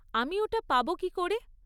আমি ওটা পাব কী করে?